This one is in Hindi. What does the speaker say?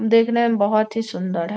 देखने में बहुत ही सूंदर है।